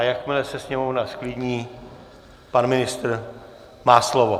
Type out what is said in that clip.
A jakmile se sněmovna zklidní, pan ministr má slovo.